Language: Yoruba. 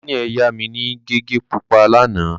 Daniel yá mi ní gègé pupa lánàá.